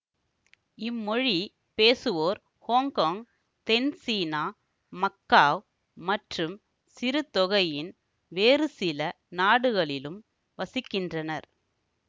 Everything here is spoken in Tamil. இம்மொழிப் பேசுவோர் ஹொங்கொங் தென்சீனா மக்காவ் மற்றும் சிறுதொகையின் வேறுசில நாடுகளிலும் வசிக்கின்றனர்